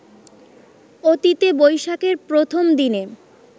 অতীতে বৈশাখের প্রথম দিনে